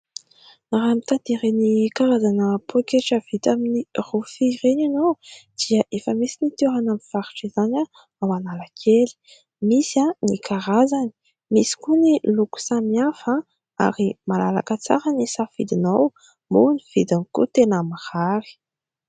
Raha mitady ireny karazana poketra vita amin'ny rofia ireny ianao dia efa misy ny toerana mivarotra izany ao Analakely. Misy ny karazany, misy koa ny loko samihafa ary malalaka tsara ny safidinao moa ny vidiny koa tena mahary.